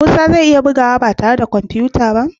Musa zai iya bugawa ba tare da kwamfuta ba?